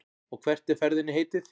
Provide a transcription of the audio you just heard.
Og hvert er ferðinni heitið?